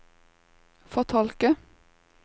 fortolke